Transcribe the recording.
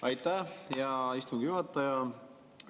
Aitäh, hea istungi juhataja!